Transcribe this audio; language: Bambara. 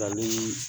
Nka ni